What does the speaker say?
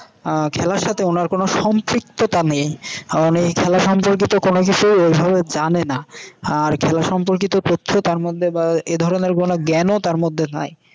আহ খেলার সাথে ওনার কোনও সম্পৃক্ততা নেই। কারণ এই খেলা সম্পর্কিত কোনো বিষয় ঐভাবে জানে না। আর খেলা সম্পর্কিত তথ্য তার মধ্যে বা এধরনের কোনও জ্ঞানও তার মধ্যে নাই।